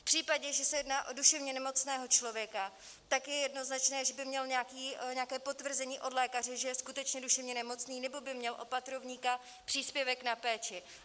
V případě, že se jedná o duševně nemocného člověka, tak je jednoznačné, že by měl nějaké potvrzení od lékaře, že je skutečně duševně nemocný, nebo by měl opatrovníka, příspěvek na péči.